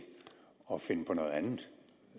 at finde på noget andet